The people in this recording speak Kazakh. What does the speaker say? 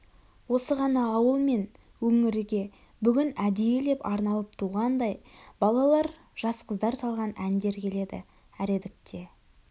осы ғана ауыл мен өңірге бүгін әдейілеп арналып туғандай балалар жас қыздар салған әндер келеді әредікте